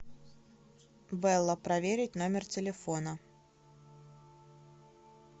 белла проверить номер телефона